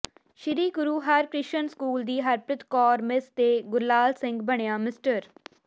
ਸ੍ਰੀ Guru Harkrishan school ਦੀ Harpreet Kaur miss ਤੇ ਗੁਰਲਾਲ ਸਿੰਘ ਬਣਿਆ ਮਿਸਟਰ